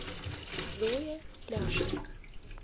зое ляшенко